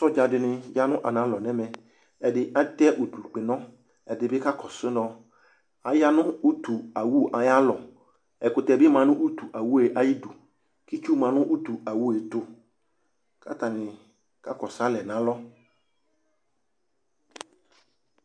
soja dini yanʋ analɔ nʋ ɛmɛ, ɛdi atɛ ʋdʋ kpɛnɔ ɛdibi kakɔsʋ nɔ, ayanʋ ʋtʋ awʋ ayialɔ, ɛkʋtɛ bi manʋ ʋtʋ awʋɛ ayidʋ, itsʋ manʋ ʋtʋ awʋɛ ɛtʋ kʋ atani ka kɔsʋ alɛ nʋ alɔ